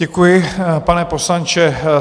Děkuji, pane poslanče.